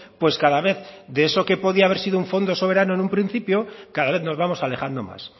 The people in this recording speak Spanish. pues cada vez de eso que podía haber sido un fondo soberano en un principio cada vez nos vamos alejando más